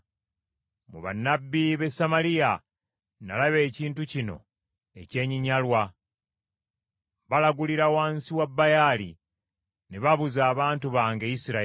“Mu bannabbi b’e Samaliya nalaba ekintu kino ekyenyinyalwa. Balagulira wansi wa Baali ne babuza abantu bange Isirayiri.